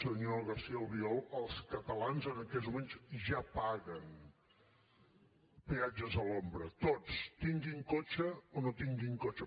senyor garcía albiol els catalans en aquests moments ja paguen peatges a l’ombra tots tinguin cotxe o no tinguin cotxe